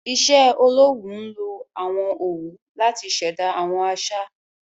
iṣẹ-olowu nlọ àwọn òwu láti ṣ'èdá àwọn àṣà.